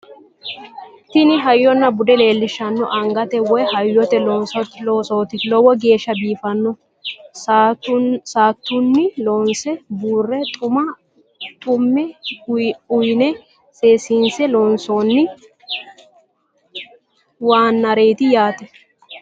tini hayyonna bude leellishanno angate woy hayyote loosooti lowo geeshsha biiffanno saatunni loonse buure xume uyine seessise loonsoonni waannareeti yaate